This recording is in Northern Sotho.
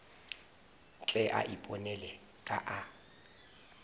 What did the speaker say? tle a iponele ka a